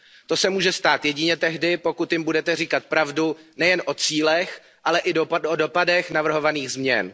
To se může stát jedině tehdy, pokud jim budete říkat pravdu nejen o cílech, ale i o dopadech navrhovaných změn.